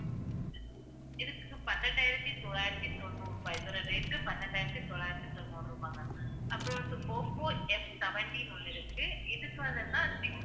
இதுக்கு பன்னெண்டாயிரத்தி தொள்ளாயிரத்தி தொண்ணூறு ரூபாய் இந்த rate க்கு பன்னிரண்டாயிரத்தி தொள்ளாயிரத்தி தொண்ணூறு ரூபாய் ma'am அப்புறம் வந்து, ஓப்போ Fseventy ன்னு ஒண்ணு இருக்கு இதுக்கு வந்து என்னன்னா